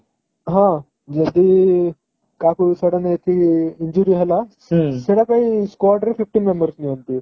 ହଁ ଯେମିତି କାହାକୁ sudden ଏମିତି injury ହେଲା ସେଟା ପାଇଁ squad ରେ fifteen members ନିଅନ୍ତି